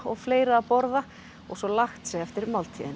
fleira að borða og svo lagt sig eftir máltíðina